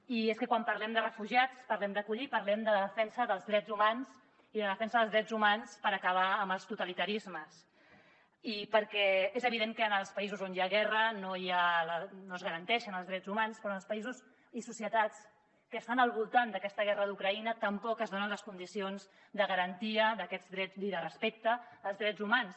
i és que quan parlem de refugiats parlem d’acollir i parlem de la defensa dels drets humans i de la defensa dels drets humans per acabar amb els totalitarismes perquè és evident que en els països on hi ha guerra no es garanteixen els drets humans però en els països i societats que estan al voltant d’aquesta guerra d’ucraïna tampoc es donen les condicions de garantia d’aquests drets ni de respecte als drets humans